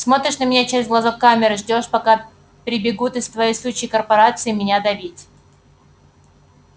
смотришь на меня через глазок камеры ждёшь пока прибегут из твоей сучьей корпорации меня давить